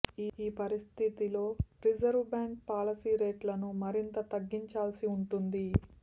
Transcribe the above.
ఈ పరిస్థితిలో reserve bank policy రేట్లను మరింత తగ్గించాల్సి ఉంటుంది